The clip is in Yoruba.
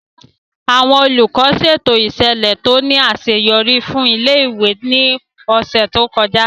Àwọn Olùkọ́ ṣètò ìṣẹ̀lẹ̀ tó ní àṣeyọrí fún ilé-ìwé ní ọ̀sẹ̀ tó kọjá